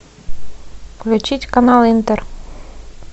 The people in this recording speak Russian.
включить канал интер